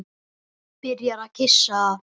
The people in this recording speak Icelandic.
Byrjar að kyssa það.